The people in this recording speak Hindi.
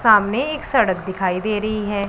सामने एक सड़क दिखाई दे रही हैं।